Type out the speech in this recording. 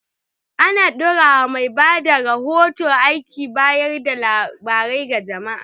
Ana dora wa mai bada rahoto aikin bayar da labarai ga jama’a.